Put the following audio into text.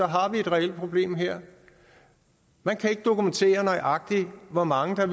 har et reelt problem her man kan ikke dokumentere nøjagtig hvor mange